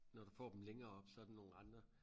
Når du får dem længere oppe så det nogen andre